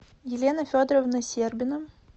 елена федоровна сербина